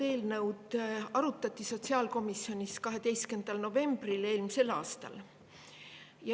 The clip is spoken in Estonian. Eelnõu arutati sotsiaalkomisjonis 12. novembril eelmisel aastal.